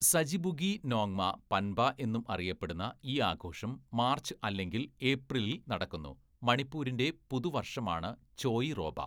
സജിബുഗി നോങ്മ പൻബ എന്നും അറിയപ്പെടുന്ന ഈ ആഘോഷം മാർച്ച്, അല്ലെങ്കിൽ ഏപ്രിലിൽ നടക്കുന്നു, മണിപ്പൂരിന്റെ പുതുവർഷമാണ് ചോയിറോബ.